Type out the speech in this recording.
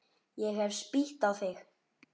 Ég hef spýtt á þig.